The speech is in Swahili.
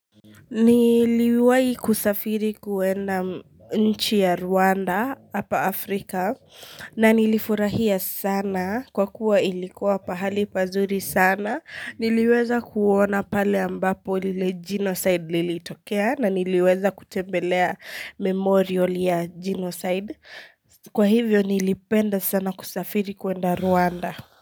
Niliwahi kusafiri kuenda nchi ya Rwanda hapa Afrika na nilifurahia sana kwa kuwa ilikuwa pahali pazuri sana niliweza kuona pale ambapo lile genocide lilitokea na niliweza kutembelea memorial ya genocide kwa hivyo nilipenda sana kusafiri kuenda Rwanda.